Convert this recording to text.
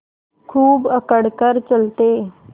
खूब अकड़ कर चलते